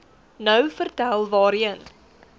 nou vertel waarheen